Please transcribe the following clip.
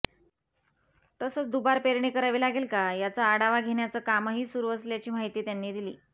तसंच दुबार पेरणी करावी लागेल का याचा आढावा घेण्याचं कामही सुरू असल्याची माहिती त्यांनी दिली